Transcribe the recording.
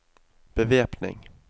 bevæpning